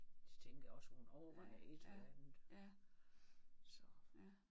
Det tænker jeg også hun overvejer et eller andet så